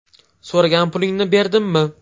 So‘ragan pulingni berdimmi?